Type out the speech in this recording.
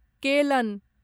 Kellen